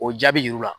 O jaabi yir'u la